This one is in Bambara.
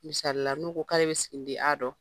Misalila n'u ko k'ale bɛ siginiden A dɔn.